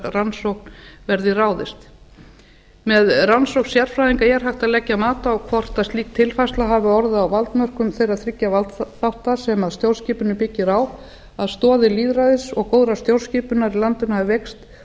rannsókn verði ráðist með rannsókn sérfræðinga er hægt að leggja mat á hvort slík tilfærsla hafi orðið á valdmörkum þeirra þriggja valdþátta sem stjórnskipunin byggir á að stoðir lýðræðis og góðrar stjórnskipunar í landinu hafi veikst